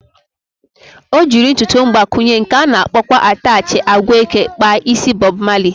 O jiri ntụtụ mgbakwụnye, nke ana akpọkwa atachị agwa eke kpa isi Bọb Mali